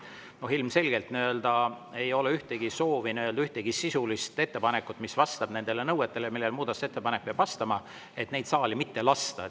Ilmselgelt ei ole soovi ühtegi sisulist ettepanekut, mis vastab nõuetele, millele muudatusettepanek peab vastama, saali mitte lasta.